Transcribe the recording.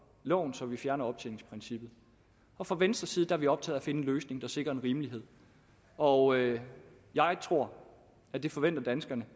loven så vi fjerner optjeningsprincippet fra venstres side er vi optaget finde en løsning der sikrer en rimelighed og jeg tror at det forventer danskerne